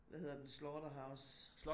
Hvad hedder den Slaughterhouse